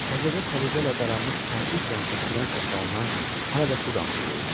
Təzəcə səliqə ilə daranmış kərpic rəngli kürən saçlarından hələ də su damcılayırdı.